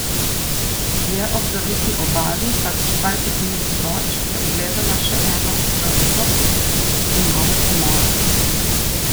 Dlje ob zaviti obali, kakih dvajset milj proč, je ugledala še eno utrdbo in nove pomole.